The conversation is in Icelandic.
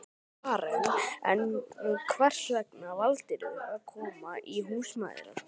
Karen: En hvers vegna valdirðu að koma í Húsmæðraskólann?